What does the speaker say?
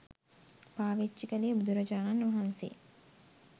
පාවිච්චි කළේ බුදුරජාණන් වහන්සේ